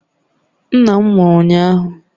Nna m nwụrụ ụnyahụ